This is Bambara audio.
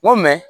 N ko